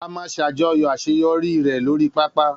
A máa ṣàjọyọ̀ àṣeyọrí rẹ̀ lórii pápá